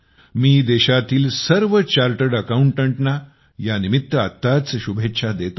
मी देशातील सर्व chartered accountant ना यानिमित्त आत्ताच शुभेच्छा देतो